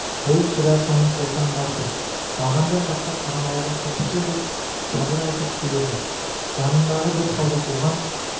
бұл сірә соның қолтаңбасы бағандар жаққа қарамауға тырысты деп сабыр айтып келеді жанындағы бір солдат оған